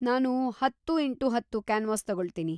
ನಾನು ಹತ್ತು ಇಂಟು ಹತ್ತು ಕ್ಯಾನ್ವಾಸ್‌ ತಗೊಳ್ತೀನಿ.